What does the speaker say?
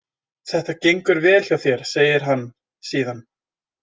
Þetta gengur vel hjá þér, segir hann síðan.